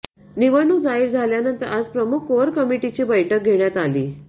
निवडणूक जाहीर झाल्यानंतर आज प्रमुख कोअर कमिटीची बैठक घेण्यात आली